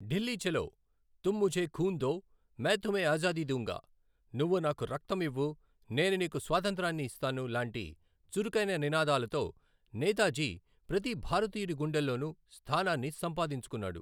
ఢిల్లీ చలో, తుమ్ ముఝే ఖూన్ దో, మై తుమ్హే ఆజాదీ దూంగా, నువ్వు నాకు రక్తం ఇవ్వు, నేను నీకు స్వాతంత్రాన్ని ఇస్తాను, లాంటి చురుకైన నినాదాలతో నేతాజీ ప్రతి భారతీయుడి గుండెల్లోనూ స్థానాన్ని సంపాదించుకున్నాడు.